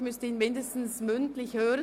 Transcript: Ich müsste ihn aber zumindest hören.